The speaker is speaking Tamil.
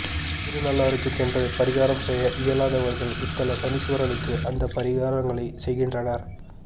திருநள்ளாறுக்குச் சென்று பரிகாரம் செய்ய இயலாதவர்கள் இத்தல சனீஸ்வரனுக்கு அந்த பரிகாரங்களைச் செய்கின்றனர்